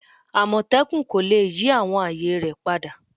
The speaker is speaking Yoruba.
Amotekun ko le yi awọn aaye rẹ pada